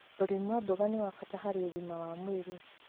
ũrĩmi wa mboga nĩ wa bata harĩ ũgima wa mwĩrĩ.